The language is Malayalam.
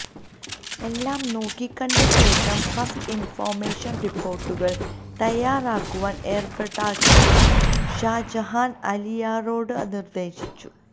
എല്ലാം നോക്കിക്കണ്ടശേഷം ഫസ്റ്റ് ഇൻഫർമേഷൻ റിപ്പോർട്ടുകൾ തയ്യാറാക്കുവാൻ ഏർപ്പാടാക്കിയിട്ട് ഷാജഹാൻ അലിയാരോടു നിർദ്ദേശിച്ചു